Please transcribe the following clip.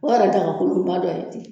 O yɛrɛ daga kolonba dɔ ye ten